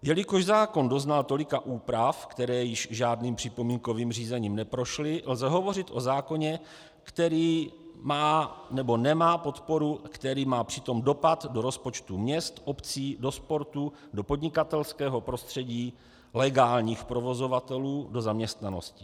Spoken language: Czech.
Jelikož zákon doznal tolika úprav, které již žádným připomínkovým řízením neprošly, lze hovořit o zákoně, který má nebo nemá podporu, který má přitom dopad do rozpočtu měst, obcí, do sportu, do podnikatelského prostředí legálních provozovatelů, do zaměstnanosti.